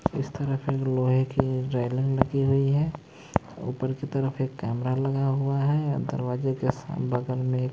इस तरफ एक लोहे की रेलिंग लगी हुई है ऊपर की तरफ एक कैमरा लगा हुआ है। दरवाजे के साथ में--